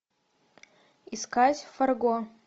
искать фарго